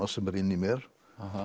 sem er inni í mér